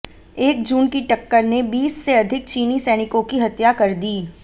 एक जून की टक्कर ने बीस से अधिक चीनी सैनिकों की हत्या कर दी